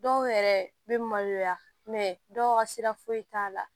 Dɔw yɛrɛ bɛ maloya dɔw ka sira foyi t'a la